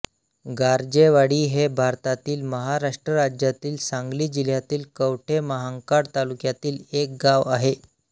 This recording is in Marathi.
गारजेवाडी हे भारतातील महाराष्ट्र राज्यातील सांगली जिल्ह्यातील कवठे महांकाळ तालुक्यातील एक गाव आहे